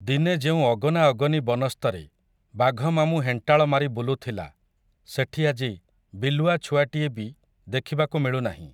ଦିନେ ଯେଉଁ ଅଗନାଅଗନି ବନସ୍ତରେ, ବାଘମାମୁଁ ହେଣ୍ଟାଳ ମାରି ବୁଲୁଥିଲା, ସେଠି ଆଜି, ବିଲୁଆ ଛୁଆଟିଏ ବି, ଦେଖିବାକୁ ମିଳୁନାହିଁ ।